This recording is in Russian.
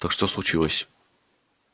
так что случилось